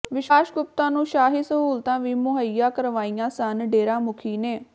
ਵਿਸ਼ਵਾਸ ਗੁਪਤਾ ਨੂੰ ਸ਼ਾਹੀ ਸਹੂਲਤਾਂ ਵੀ ਮੁਹੱਈਆ ਕਰਵਾਈਆਂ ਸਨ ਡੇਰਾ ਮੁਖੀ ਨੇ